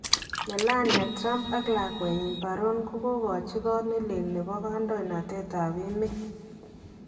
Melania Trumpe ak lakweenyin Baron kokauuchi Koot nelel nebo kandoindetab emeet